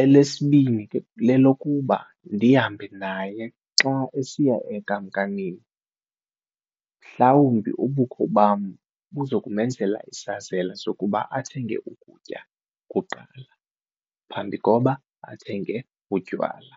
elesibini lelokuba ndihambe naye xa esiya enkamnkamini mhlawumbi ubukho bam buzokumenzela isazela sokuba athenge ukutya kuqala phambi koba athenge utywala.